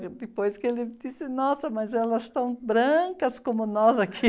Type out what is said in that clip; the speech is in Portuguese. Depois que ele disse, nossa, mas elas estão brancas como nós aqui.